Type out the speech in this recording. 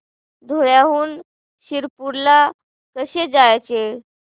धुळ्याहून शिरपूर ला कसे जायचे